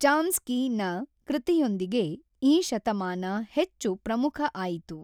ಚಾಮ್ಸ್ಕಿನ ಕೃತಿಯೊಂದಿಗೆ ಈ ಶತಮಾನ ಹಚ್ಚು ಪ್ರಮುಖ ಆಯಿತು.